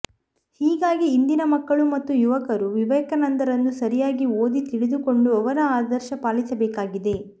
ಹೀಗಾಗಿ ಇಂದಿನ ಮಕ್ಕಳು ಮತ್ತು ಯುವಕರು ವಿವೇಕಾನಂದರನ್ನು ಸರಿಯಾಗಿ ಓದಿ ತಿಳಿದುಕೊಂಡು ಅವರ ಆದರ್ಶ ಪಾಲಿಸಬೇಕಾಗಿದೆ